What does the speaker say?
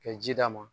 Ka ji d'a ma